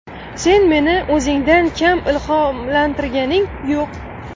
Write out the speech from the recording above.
Sen meni o‘zingdan kam ilhomlantirganing yo‘q.